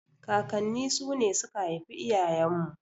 Kakanni su ne suka haifi iyayen mu.